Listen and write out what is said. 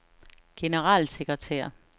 generalsekretær